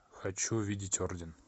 хочу видеть орден